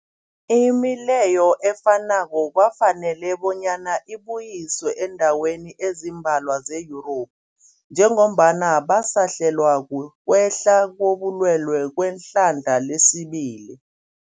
Imileyo efanako kwafanela bonyana ibuyiswe eendaweni ezimbalwa ze-Yurophu njengombana basahlelwa, kukwehla kobulwele kwehlandla lesibili.